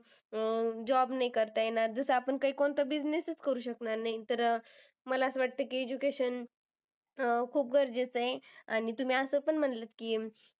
अं job नाही करता येणार जसं आपण काय कोणता business ही करू शकणार नाही. तर अह मला असं वाटतं की education अह खूप गरजेचं आहे. आणि तुम्ही असं पण म्हणालत की,